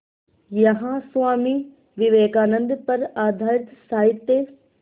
यहाँ स्वामी विवेकानंद पर आधारित साहित्य